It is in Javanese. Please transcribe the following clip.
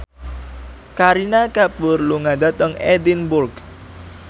Kareena Kapoor lunga dhateng Edinburgh